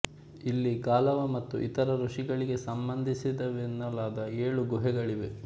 ಇಲ್ಲಿ ಗಾಲವ ಮತ್ತು ಇತರ ಋಷಿಗಳಿಗೆ ಸಂಬಂಧಿಸಿದವೆನ್ನಲಾದ ಏಳು ಗುಹೆಗಳಿವೆ